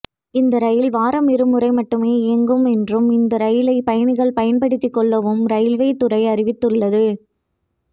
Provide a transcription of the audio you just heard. இந்த ரயில் வாரமிருமுறை மட்டுமே இயங்கும் என்றும் இந்த ரயிலை பயணிகள் பயன்படுத்தி கொள்ளவும் ரயில்வே துறை அறிவித்துள்ளது